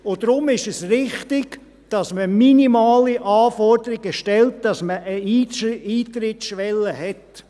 Deshalb ist es richtig, dass man minimale Anforderungen stellt, dass man eine Eintrittsschwelle hat.